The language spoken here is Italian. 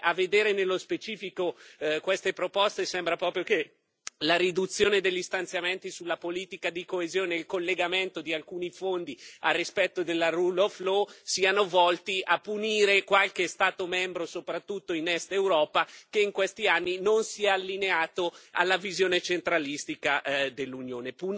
Beh, a vedere nello specifico queste proposte, sembra proprio che la riduzione degli stanziamenti sulla politica di coesione e il collegamento di alcuni Fondi al rispetto della rule of law siano volti a punire qualche Stato membro, soprattutto in Est Europa, che in questi anni non si è allineato alla visione centralistica dell'Unione.